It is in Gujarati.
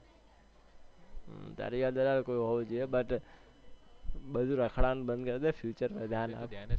તારી હોવું જોઈએ but બધુ રખડવાનું બંધ કરી દે future માં ધ્યાન રાખ